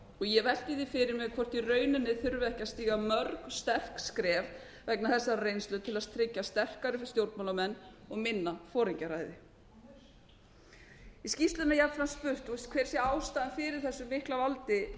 ég velti því fyrir mér hvort í rauninni þurfi ekki að stíga mörg sterk skref vegna þessarar reynslu til að tryggja sterkari stjórnmálamenn og minna foringjaræði í skýrslunni er jafnframt spurt hver sé ástæðan fyrir þessu mikla valdi